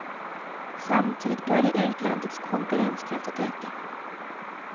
Samtidigt började utlandets konkurrenskraft att öka.